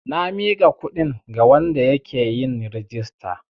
Na miƙa kundi ga wanda yake yin rijista.